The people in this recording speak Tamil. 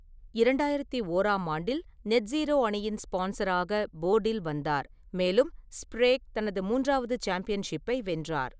இரண்டாயிரத்து ஓறாம் ஆண்டில், நெட்ஜிரோ அணியின் ஸ்பான்சராக போர்டில் வந்தார், மேலும் ஸ்ப்ரேக் தனது மூன்றாவது சாம்பியன்ஷிப்பை வென்றார்.